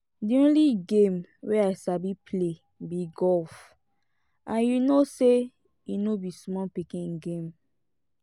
the only game wey i sabi play be golf and you know say e no be small pikin game